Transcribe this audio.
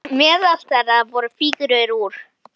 Meðal þeirra voru fígúrur úr